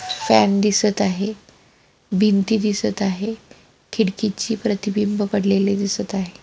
Fan दिसत आहे भिंती दिसत आहे खिडकीची प्रतिबिंब पडलेली दिसत आहे.